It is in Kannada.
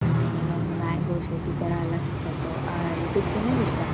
ಏನೇನೊ ಮ್ಯಾಂಗೋ ಶೇಪು ಇತರ ಎಲ್ಲ ಸಿಕ್ತಾ ಇತ್ತು ಅಹ್ ಅಹ್ ಇದ್ದಕೆನೆ ಇಷ್ಟಾ.